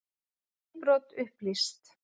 Innbrot upplýst